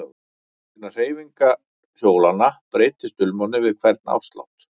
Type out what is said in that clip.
Vegna hreyfingar hjólanna breyttist dulmálið við hvern áslátt.